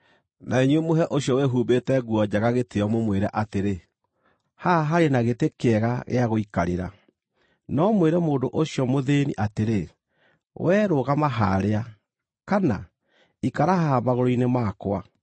na inyuĩ mũhe ũcio wĩhumbĩte nguo njega gĩtĩĩo, mũmwĩre atĩrĩ, “Haha harĩ na gĩtĩ kĩega gĩa gũikarĩra,” no mwĩre mũndũ ũcio mũthĩĩni atĩrĩ, “Wee rũgama harĩa,” kana, “Ikara haha magũrũ-inĩ makwa,”